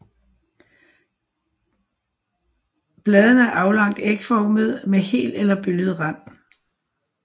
Bladene er aflangt ægformede med hel eller bølget rand